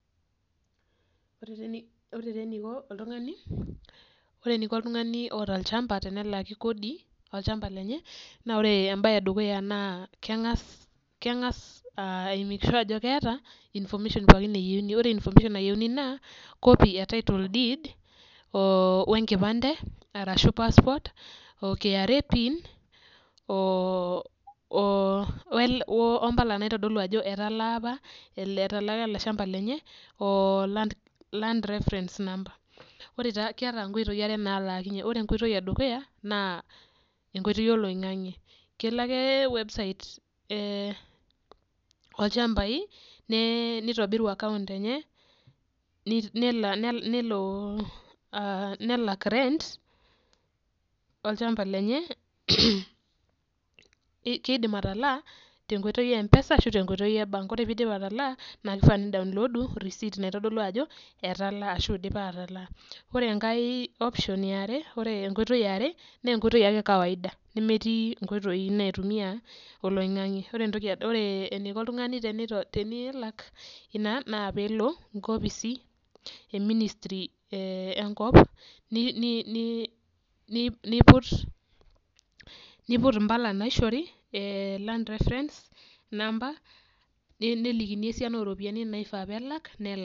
Ore taa eniko oltungani oota olchampa tenalak Kodi olchampa lenye, naa ore ebae edukuya, naa keng'as ai make sure ajo keeta information pookin nayieuni aa copy e title deed oo, enkipande arashu passport o kra pin. mpala naitodolu ajo etalaa apa ele shampa lenye, land reference keeta nkoitoi are naalakinye, ore enkoitoi edukuya naa, enkoitoi oloingang'e, kelo ake website olchampai, nitobiru account enye, nelo arak rent olchampa lenye, kidim atalaa tenkoitoi be mpesa ashu te nkoitoi e bank ore pee idip atalaa, na kifaa, ni download receipt naitodolu ajo, etalaa, ashu idipa atalaa, ore enkae, option yiare, ore enkoitoi yiare, naa enkoitoi ake ekawiaada. Nemetii nkoitoi naitumia oloingang'e ore eneiko oltungani tenelak, naa peelo nkopisi e ministry enkop, niput mpala naishori Land reference number nelikini esiana oo ropiyiani naifaa nelak, nelak.